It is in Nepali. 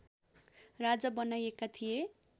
राजा बनाइएका थिए